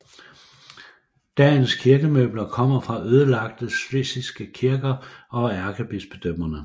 Dagens kirkemøbler kommer fra ødelagte schlesiske kirker og ærkebispedømmerne